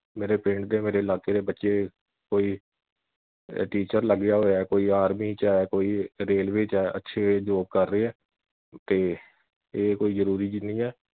ਮੇਰੇ ਪਿੰਡ ਦੇ ਮੇਰੇ ਇਲਾਕੇ ਦੇ ਬੱਚੇ ਕੋਈ teacher ਲੱਗਿਆ ਹੋਇਆ ਕੋਈ army ਵਿਚ ਐ ਕੋਈ ਰੇਲਵੇ ਵਿਚ ਐ ਅੱਛੇ job ਕਰ ਰਹੇ ਐ ਤੇ ਇਹ ਕੋਈ ਜਰੂਰੀ ਨਹੀ ਐ।